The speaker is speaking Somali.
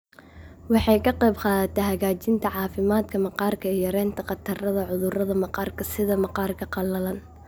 Waxay ka qaybqaadataa hagaajinta caafimaadka maqaarka iyo yaraynta khatarta cudurrada maqaarka sida maqaarka qalalan.